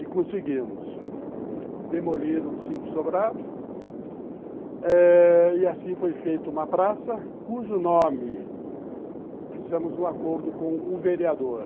E conseguimos demolir os cinco sobrados eh e assim foi feita uma praça cujo nome fizemos um acordo com o vereador.